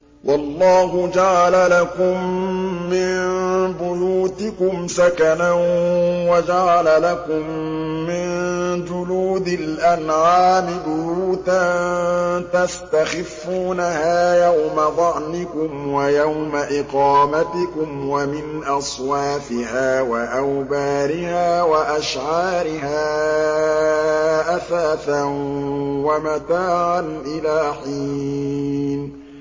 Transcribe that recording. وَاللَّهُ جَعَلَ لَكُم مِّن بُيُوتِكُمْ سَكَنًا وَجَعَلَ لَكُم مِّن جُلُودِ الْأَنْعَامِ بُيُوتًا تَسْتَخِفُّونَهَا يَوْمَ ظَعْنِكُمْ وَيَوْمَ إِقَامَتِكُمْ ۙ وَمِنْ أَصْوَافِهَا وَأَوْبَارِهَا وَأَشْعَارِهَا أَثَاثًا وَمَتَاعًا إِلَىٰ حِينٍ